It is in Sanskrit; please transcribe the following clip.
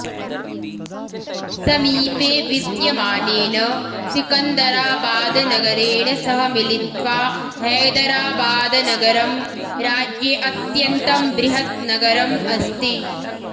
समीपे विद्यमानेन सिकन्दराबाद् नगरेण सह मिलित्वा हैदराबाद्नगरम् राज्ये अत्यन्तं बृहत् नगरम् अस्ति